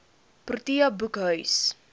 protea boekhuis